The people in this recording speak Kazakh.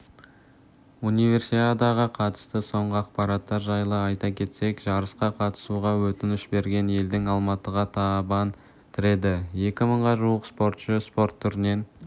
универсиадаға қатысты соңғы ақпараттар жайлы айта кетсек жарысқа қатысуға өтініш берген елдің алматыға табан тіреді екі мыңға жуық спортшы спорт түрінен